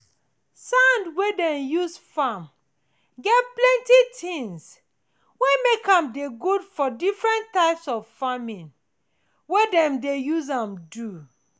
sand wey dem use farm get plenty things wey make am dey good for the different types of farming wey dem dey use am do.